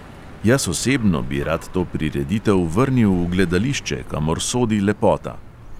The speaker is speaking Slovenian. Jaz osebno bi rad to prireditev vrnil v gledališče, kamor sodi lepota.